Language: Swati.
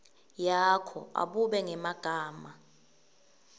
yakho abube ngemagama